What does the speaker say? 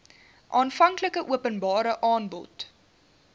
aanvanklike openbare aanbod